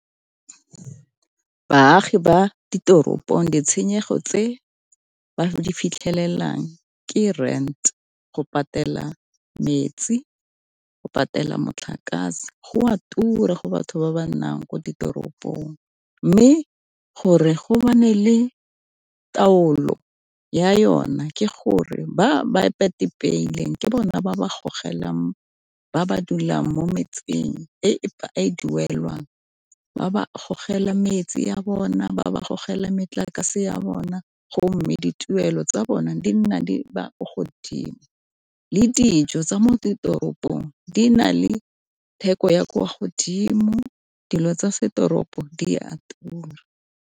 Baagi ba ditoropong ditshenyego tse ba di fitlhelelang ke rent, go patela metsi, go patela motlakase, go a tura go batho ba ba nnang ko ditoropong. Mme gore go le taolo ya yona ke gore ba ba peileng ke bona ba ba gogelang ba ba dulang mo metseng e e duelwang, ba ba gogela metsi a bona ba ba gogela metlakase ya bona, go mme dituelo tsa bona di nna di ba ko godimo. Le dijo tsa mo ditoropong di na le theko ya kwa godimo, dilo tsa setoropo di a tura.